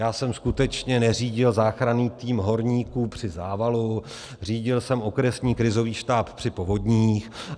Já jsem skutečně neřídil záchranný tým horníků při závalu, řídil jsem okresní krizový štáb při povodních.